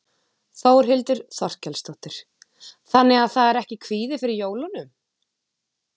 Þórhildur Þorkelsdóttir: Þannig að það er ekki kvíði fyrir jólunum?